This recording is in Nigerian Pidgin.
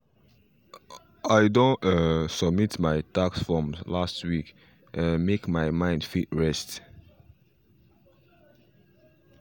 i don um submit my tax forms last week um make my mind fit rest